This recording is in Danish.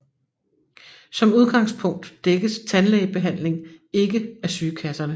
Som udgangspunkt dækkes tandlægebehandling ikke af sygekasserne